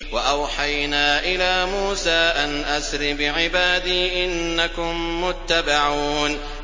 ۞ وَأَوْحَيْنَا إِلَىٰ مُوسَىٰ أَنْ أَسْرِ بِعِبَادِي إِنَّكُم مُّتَّبَعُونَ